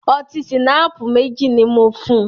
Ọtí ṣìnáàpù mẹ́jì ní mò fùn.